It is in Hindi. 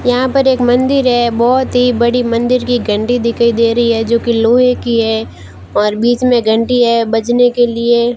यहां पर एक मंदिर है बहुत ही बड़ी मंदिर की घंटी दिखाई दे रही है जो की लोहे की है और बीच में घंटी हैं बजने के लिए --